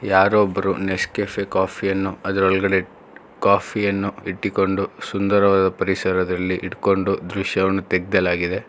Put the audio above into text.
ಯಾರೋ ಒಬ್ಬರು ನೇಸಕೆಫೆ ಕಾಫಿಯನ್ನು ಅದರೊಲ್ಗಡೆ ಕಾಫಿ ಯನ್ನು ಇಟ್ಟಿಕೊಂಡು ಸುಂದರವಾದ ಪರಿಸರದಲ್ಲಿ ಇಡ್ಕೊಂಡು ದೃಶ್ಯವನ್ನು ತೆಗ್ದ್ಯೆಲಾಗಿದೆ.